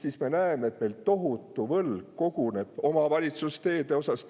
Ja me näeme, et meil koguneb tohutu võlg omavalitsuse teede osas.